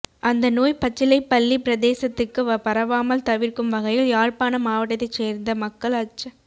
அந்த நோய் பச்சிலைப் பள்ளிப் பிரதேசத்துக்கும் பரவாமால் தவிர்க்கும் வகையில் யாழ்ப்பாணம் மாவட்டத்தைச் சேர்ந்த மக்கள் அச்ச